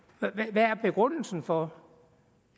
hvad er begrundelsen for